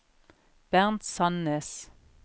Bernt Sandnes